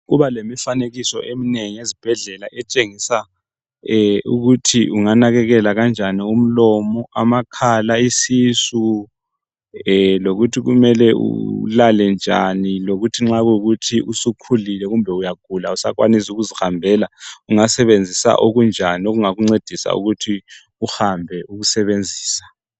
Kubalemifanekiso eminengi ezibhedlela etshengisa ukuthi unganakakela kanjani umlomo, amakhala, isisu lokuthi kumele ulale njani lokuthi nxa kuyikuthi usukhulile uyagula awusakwanisi ukuzihambela ungasebenzisa okunjani okungakuncedisa ukuthi uhambe ukusebenzisa.